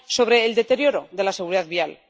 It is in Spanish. sobre el deterioro de la seguridad vial.